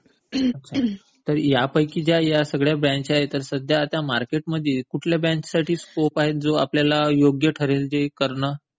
तर यापैकी या सगळ्या ज्या ब्रांचेस आहेत, तर मार्केटमध्ये कुठल्या ब्रँचसाठी स्कोप आहे जो आपल्याला योग्य ठरेल जे करणं?